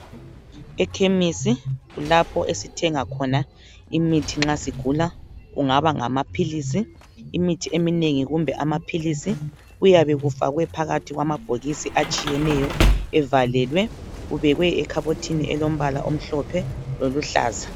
Ekhemisi kulapho esithenga khona imithi nxa sigula kungaba ngamaphilizi . Imithi eminengi kumbe amaphilizi kuyabe kufakwe phakathi kwamabhokisi atshiyeneyo evalelwe okubekwe ekhabothini elombala omhlophe loluhlaza.